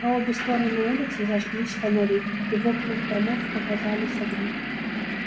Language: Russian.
по обе стороны улицы зажглись фонари и в окнах домов показались огни